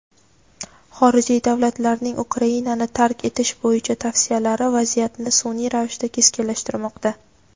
xorijiy davlatlarning Ukrainani tark etish bo‘yicha tavsiyalari vaziyatni sunʼiy ravishda keskinlashtirmoqda.